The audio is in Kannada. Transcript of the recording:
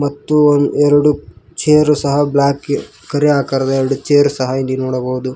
ಮತ್ತು ಎರಡು ಚೇರು ಸಹ ಬ್ಲಾಕ್ ಕರೆ ಆಕಾರದ ಎರಡು ಚೇರ್ ಸಹ ಇಲ್ಲಿ ನೋಡಬಹುದು.